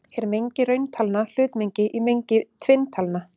Er mengi rauntalna hlutmengi í mengi tvinntalna?